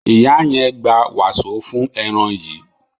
ìyá yen gbà waso fún èràn yí.